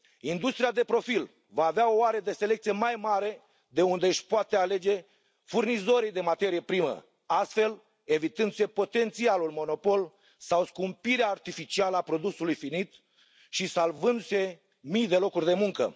Industria de profil va avea o arie de selecție mai mare de unde își poate alege furnizorii de materie primă, astfel evitându se potențialul monopol sau scumpirea artificială a produsului finit și salvându se mii de locuri de muncă.